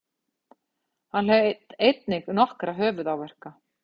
Hann hlaut einnig nokkra höfuðáverka